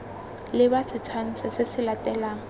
leba setshwantsho se se latelang